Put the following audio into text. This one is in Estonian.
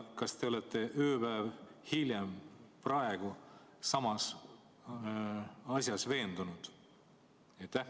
Kas te olete ööpäev hiljem, praegu, samas asjas veendunud?